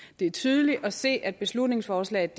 det er tydeligt at se at beslutningsforslaget